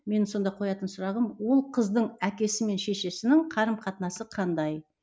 менің сонда қоятын сұрағым ол қыздың әкесі мен шешесінің қарым қатынасы қандай